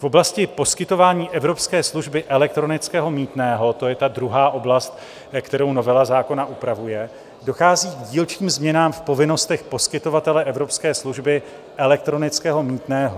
V oblasti poskytování evropské služby elektronického mýtného, to je ta druhá oblast, kterou novela zákona upravuje, dochází k dílčím změnám v povinnostech poskytovatele evropské služby elektronického mýtného.